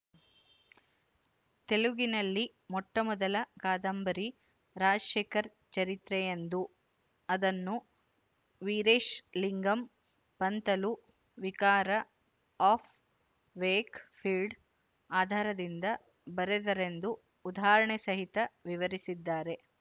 ತೆಲುಗಿನಲ್ಲಿ ಮೊಟ್ಟಮೊದಲ ಕಾದಂಬರಿ ರಾಜಶೇಖರ ಚರಿತ್ರೆಯೆಂದು ಅದನ್ನು Veeresalingam Pantulu Vicar of Wakefield ಆಧಾರದಿಂದ ಬರೆದರೆಂದು ಉದಾಹರಣೆಸಹಿತ ವಿವರಿಸಿದ್ದಾರೆ